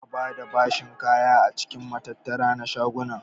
Ba'a bada bashin kaya a cikin matattara na shaguna.